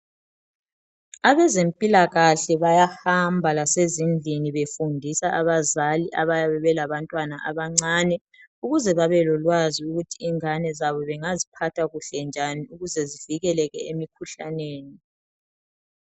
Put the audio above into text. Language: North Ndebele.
Abezempilakahle bayahamba lase zindlini befundisa abazali abayabe belabantwana abancane ukuze babelolwazi ukuthi ingane zabo bengaziphatha kuhle njani ukuze zivikeleke emikhuhlaneni.